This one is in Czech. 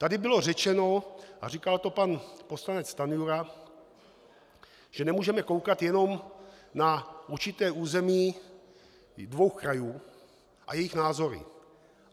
Tady bylo řečeno, a říkal to pan poslanec Stanjura, že nemůžeme koukat jenom na určité území dvou krajů a jejich názory.